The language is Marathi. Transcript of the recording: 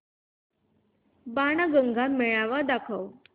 बाणगंगा मेळावा दाखव